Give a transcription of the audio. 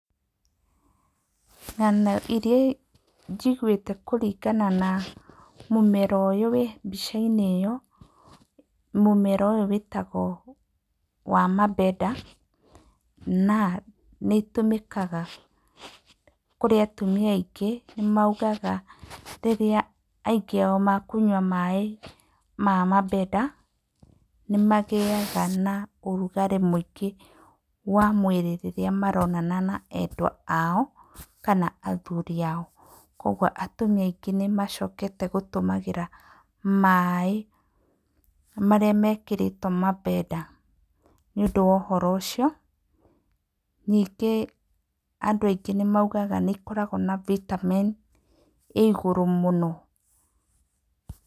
Ng'ano irĩa njiguĩte kũringana na mũmera ũyũ wĩ mbica-inĩ ĩyo, mũmera ũyũ wĩtagwo wa mabeda na ĩtũmĩkaga kũrĩ atumia aingĩ. Nĩ moigaga rĩrĩa aingĩ ao mekũnyua maĩ ma mabeda, nĩ magĩaga na ũrugarĩ wa mwĩrĩ rĩrĩa maronana na endwa ao kana athuri ao. Kwoguo atumia aingĩ nĩ macokete gũtũmagĩra maĩ marĩa mekĩrĩtwo mabeda nĩ ũndũ wa ũhoro ũcio. Ningĩ andũ angĩ nĩ moigaga nĩ ĩkoragwo na cs] vitamin ĩĩ igũrũ muno.